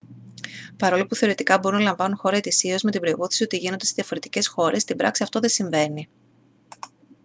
παρόλο που θεωρητικά μπορούν να λαμβάνουν χώρα ετησίως με την προϋπόθεση ότι γίνονται σε διαφορετικές χώρες στην πράξη αυτό δεν συμβαίνει